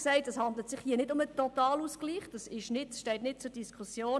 Es handelt sich nicht um einen Totalausgleich, das steht nicht zur Diskussion.